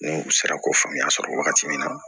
N'u sera ko faamuya sɔrɔ wagati min na